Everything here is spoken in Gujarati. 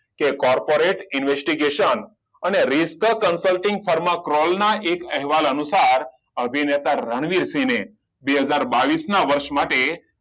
કે corporate investigation અને ના એક અહેવાલ અનુસાર અભિનેતા રણવીરસિંહ ને બે હજાર બાવીસ ના વર્ષ માટે